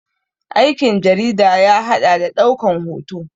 Aikin jarida ya haɗa da ɗaukan hoto